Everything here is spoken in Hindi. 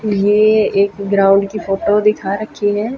ये एक ग्राउंड की फोटो दिखा रखी है।